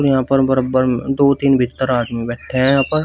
यहां पर बरबर में दो तीन भीत्तर आदमी बैठे है यहां पर।